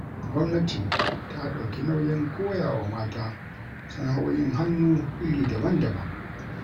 Gwamnati ta dauki nauyin koyawa mata sana'o'i'n hannu iri daban-daban